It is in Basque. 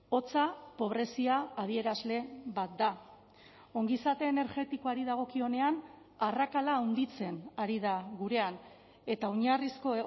hotza pobrezia adierazle bat da ongizate energetikoari dagokionean arrakala handitzen ari da gurean eta oinarrizko